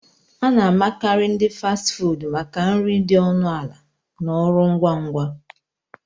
A na-amakarị ndi Fasti fuudu maka nri dị ọnụ ala na ọrụ ngwa ngwa